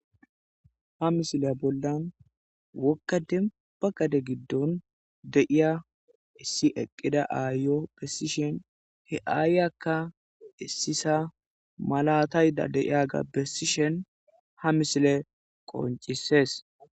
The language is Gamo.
Ha misiliya bollan wogga dembba gade giddon de'iya issi eqqida aayo bessishin he aayiyakka issisa malatayda de'iyaga bessishin ha misiley qonccises.